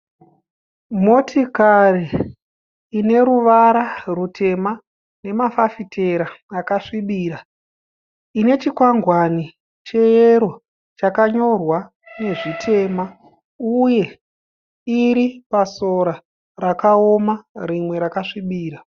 Motikari ine ruvara rutema nemafafitera akasvibira ine chikwangwani cheyero chakanyorwa nezvitema uye iri pasora rakaoma rimwe rakasvibira.